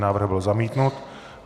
Návrh byl zamítnut.